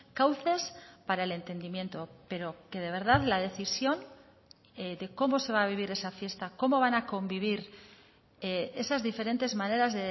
cauces para el entendimiento pero que de verdad la decisión de cómo se va a vivir esa fiesta cómo van a convivir esas diferentes maneras